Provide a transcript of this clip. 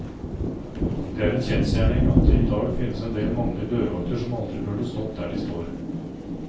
Det er en kjensgjerning at det i dag finnes en del mannlige dørvakter som aldri burde stått der de står.